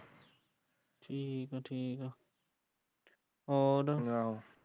ਹੋਰ ਆਹ